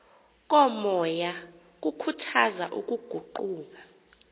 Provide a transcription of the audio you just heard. komoya kukhuthaza ukuguqula